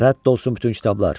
Rədd olsun bütün kitablar!